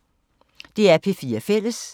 DR P4 Fælles